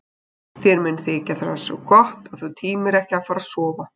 Þér mun þykja það svo gott að þú tímir ekki að fara að sofa.